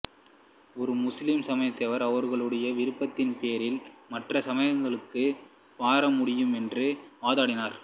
ஒரு முஸ்லீம் சமயத்தவர் அவருடைய விருப்பத்தின் பேரில் மற்ற சமயங்களுக்கு மாற முடியும் என்று வாதாடினார்